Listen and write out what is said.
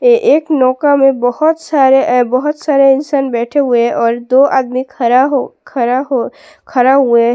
ये एक नौका में बहुत सारे बहुत सारे अ इंसान बैठे हुए है और दो आदमी खड़ा हो खड़ा हो खड़ा हुए है।